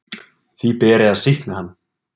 Því beri að sýkna hann.